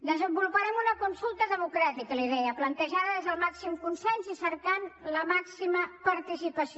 desenvoluparem una consulta democràtica li deia plantejada des del màxim consens i cercant la màxima participació